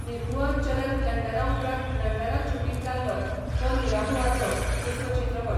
निरहुआ चलल लंडना उपरांत लंडनांत शुटींग जाल्लो हो निराहुआचो दुसरो चित्रपट.